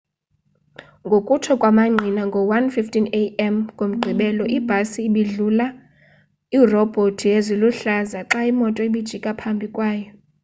ngokutsho kwamangqina ngo-1:15 a.m. ngomgqibelo ibhasi ibidlula iirobhoti ziluhlaza xa imoto ibijika phambi kwayo